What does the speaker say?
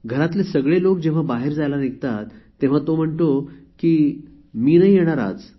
घरातले सगळे लोक जेव्हा बाहेर जायला निघतात तेव्हा तो म्हणतो की मी नाही येणार आज